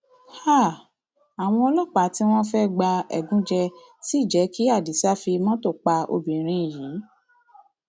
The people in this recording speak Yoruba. háà àwọn ọlọpàá tí wọn fẹẹ gba ẹgúnjẹ sí jẹ kí adisa fi mọtò pa obìnrin yìí